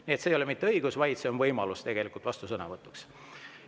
Tegelikult ei ole mitte õigus, vaid võimalus vastusõnavõtuks.